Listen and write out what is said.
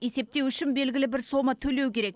есептеу үшін белгілі бір сома төлеу керек